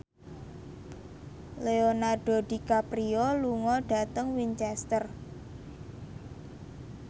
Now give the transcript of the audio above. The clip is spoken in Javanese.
Leonardo DiCaprio lunga dhateng Winchester